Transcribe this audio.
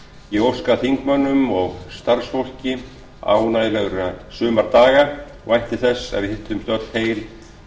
ég óska þingmönnum og starfsfólki ánægjulegra sumardaga og vænti þess að við hittumst öll heil á